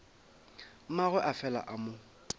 mmagwe a fela a mo